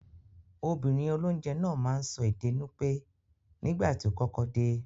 Obìnrin olónje náà máa n so ède Nupe nígbàtí o kọ́kọ́ de